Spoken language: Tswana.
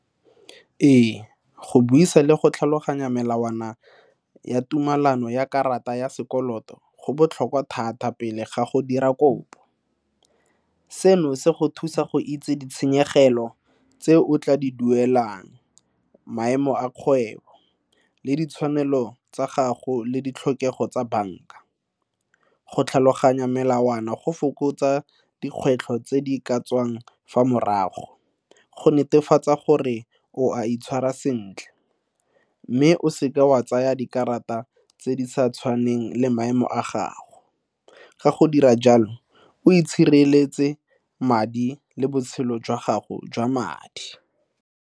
Ee, go buisa le go tlhaloganya melawana ya tumelano ya karata ya sekoloto go botlhokwa thata pele ga go dira kopo. Seno se go thusa go itse ditshenyegelo tse o tla di duelang, maemo a kgwebo, le ditshwanelo tsa gago, le ditlhokego tsa banka. Go tlhaloganya melawana go fokotsa dikgwetlho tse di ka tswang fa morago, go netefatsa gore o a itshwara sentle. Mme, o seke wa tsaya dikarata tse di sa tshwannang maemo a gago, ka go dira jalo o itshireletsa madi le botshelo jwa gago jwa madi.